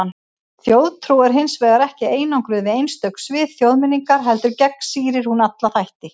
Þjóðtrú er hins vegar ekki einangruð við einstök svið þjóðmenningar, heldur gegnsýrir hún alla þætti.